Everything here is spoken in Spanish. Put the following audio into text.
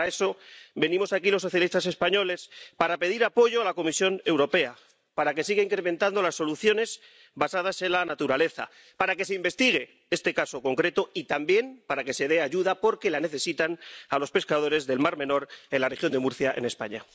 Y para eso venimos aquí los socialistas españoles, para pedir apoyo a la Comisión Europea para que siga incrementando las soluciones basadas en la naturaleza, para que se investigue este caso concreto y también para que se dé ayuda —porque la necesitan— a los pescadores del mar Menor, en la región de Murcia, en España.